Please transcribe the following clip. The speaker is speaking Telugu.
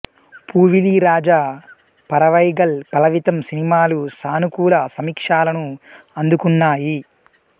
పూవిళి రాజా పరవైగల్ పలవితం సినిమాలు సానుకూల సమీక్షలను అందుకున్నాయి